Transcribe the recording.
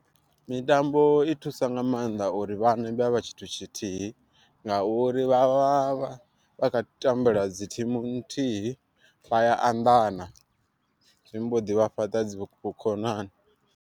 Mitambo i thusa nga maanḓa uri vhana vha vhe tshithu tshithihi, ngauri vha vha kha tambela dzi thimu nthihi vha ya anḓana zwi mboḓi vha fhaṱa dzi vhukonani.